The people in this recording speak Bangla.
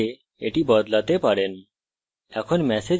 আপনি চাইলে এটি বদলাতে পারেন